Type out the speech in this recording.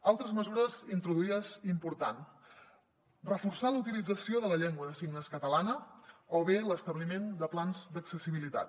altres mesures introduïdes i important reforçar la utilització de la llengua de signes catalana o bé l’establiment de plans d’accessibilitat